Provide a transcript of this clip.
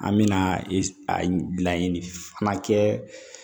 An mɛna a laɲini fana kɛ